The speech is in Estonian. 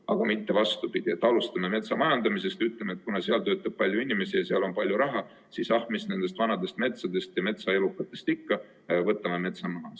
Aga mitte vastupidi, et alustame metsamajandamisest: ütleme, et kuna seal töötab palju inimesi ja seal on palju raha, siis ah, mis nendest vanadest metsadest ja metsaelukatest ikka, võtame metsa maha.